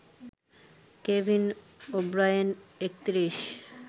Kevin O'Brien ৩১